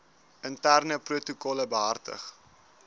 interne protokolle behartig